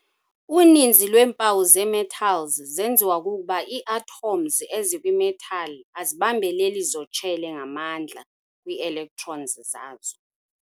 Uninzi lweempawu zee-metals zenziwa kukuba ii-atoms ezikwi-metal azibambeleli zotshele ngamandla kwii-electrons zazo.